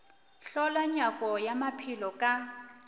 hlola nyako ya maphelo ka